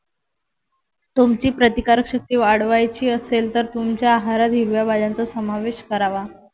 तुमची प्रतिकारक शक्ती वाढवायची असेल तर तुमच्या आहारात हिरव्या भाज्यांचा समावेश करावा.